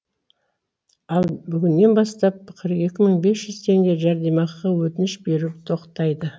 ал бүгіннен бастап қырық екі мың бес жүз теңге жәрдемақыға өтініш беру тоқтайды